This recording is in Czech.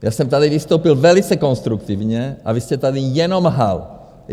Já jsem tady vystoupil velice konstruktivně a vy jste tady jenom lhal.